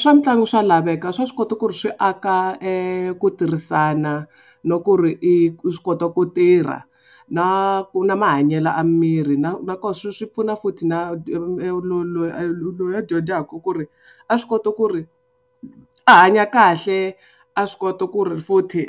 Swa mitlangu swa laveka swa swi kota ku ri swi aka ku tirhisana na ku ri i swi kota ku tirha na ku na mahanyelo a miri na na kona swi swi pfuna futhi na dyondzaka ku ri a swi kota ku ri a hanya kahle a swi kota ku ri futhi